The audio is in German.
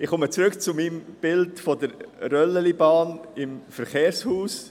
Ich komme zurück auf mein Bild mit der Röllchenbahn im Verkehrshaus.